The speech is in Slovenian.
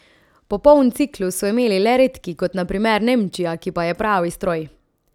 Popoln ciklus so imeli le redki, kot na primer Nemčija, ki pa je pravi stroj.